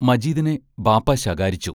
മജീദിനെ ബാപ്പാ ശകാരിച്ചു.